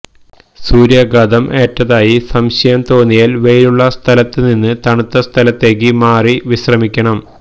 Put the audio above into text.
സൂര്യാഘാതം ഏറ്റതായി സംശയം തോന്നിയാല് വെയിലുള്ള സ്ഥലത്തുനിന്ന് തണുത്ത സ്ഥലത്തേക്ക് മാറി വിശ്രമിക്കണം